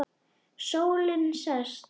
Sólin sest.